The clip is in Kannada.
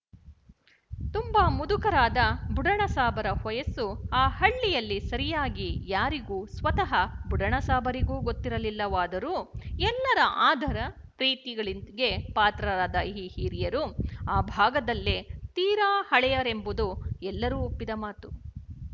ತುಂಬ ಮುದುಕರಾದ ಬುಡಣಸಾಬರ ವಯಸ್ಸು ಆ ಹಳ್ಳಿಯಲ್ಲಿ ಸರಿಯಾಗಿ ಯಾರಿಗೂಸ್ವತಃ ಬುಡಣಸಾಬರಿಗೂಗೊತ್ತಿರಲಿಲ್ಲವಾದರೂ ಎಲ್ಲರ ಆದರ ಪ್ರೀತಿಗಳಿಗೆ ಪಾತ್ರರಾದ ಈ ಹಿರಿಯರು ಆ ಭಾಗದಲ್ಲೇ ತೀರ ಹಳೆಯರೆಂಬುದು ಎಲ್ಲರೂ ಒಪ್ಪಿದ ಮಾತು